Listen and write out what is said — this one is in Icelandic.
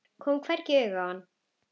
Kom hvergi auga á hana.